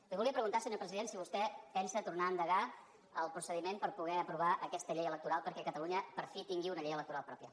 li volia preguntar senyor president si vostè pensa tornar a endegar el procediment per poder aprovar aquesta llei electoral perquè catalunya per fi tingui una llei electoral pròpia